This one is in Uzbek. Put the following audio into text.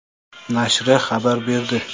nashri xabar berdi .